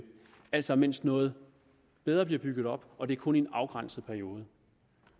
altså mens noget bedre bliver bygget op og det er kun i en afgrænset periode